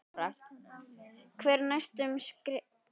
Lára: Hver eru næstu skerf?